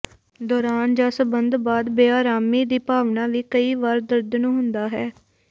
ਦੌਰਾਨ ਜ ਸੰਬੰਧ ਬਾਅਦ ਬੇਆਰਾਮੀ ਦੀ ਭਾਵਨਾ ਵੀ ਕਈ ਵਾਰ ਦਰਦ ਨੂੰ ਹੁੰਦਾ ਹੈ